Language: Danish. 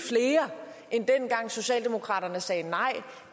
flere end dengang socialdemokraterne sagde nej